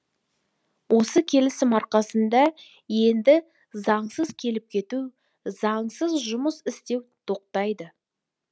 осы келісім арқасында енді заңсыз келіп кету заңсыз жұмыс істеу тоқтайды